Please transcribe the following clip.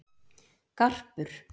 Garpur